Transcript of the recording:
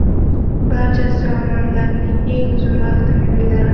Barcha zamonlarning eng zo‘r avtomobillari .